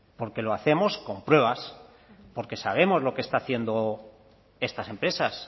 porque lo hacemos con pruebas porque sabemos lo que están haciendo estas empresas